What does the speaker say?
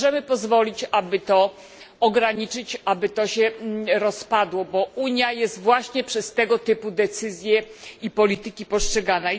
Nie możemy pozwolić, aby to ograniczyć, aby to się rozpadło, bo Unia jest właśnie przez tego typu decyzje i polityki postrzegana.